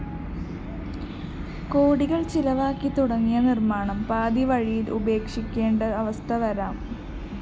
കോടികള്‍ ചെലവാക്കി തുടങ്ങിയ നിര്‍മ്മാണം പാതിവഴിയില്‍ ഉപേക്ഷിക്കേണ്ട അവസ്ഥ വരാം